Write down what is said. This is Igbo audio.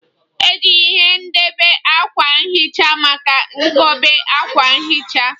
Eji ihe nkobe akwa nhicha maka nkobe akwa nhicha